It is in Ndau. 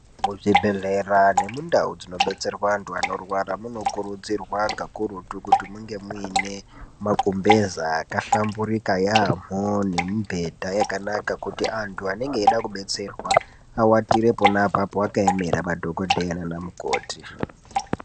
Mu zvibhehlera ne mundau dzino betserwa antu anorwara muno kurudzirwa kakurutu kuti munge muine ma gumbeza aka hlamburika yamho ne mi bhedha yakanaka kuti antu anenge eida ku betserwa awatire ponapo aka emera madhokoteya nana mukoti.